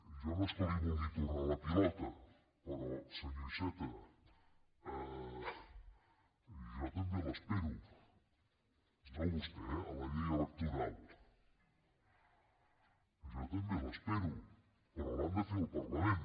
jo no és que li vulgui tornar la pilota però senyor iceta jo també l’espero no a vostè eh a la llei electoral però l’han de fer al parlament